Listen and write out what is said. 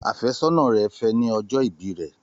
Àfẹ́sọ́nà rẹ̀ fẹ́ ẹ ní ọjọ́ ìbí rẹ̀.